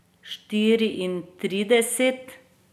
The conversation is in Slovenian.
Štiriintrideset?